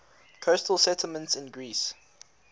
coastal settlements in greece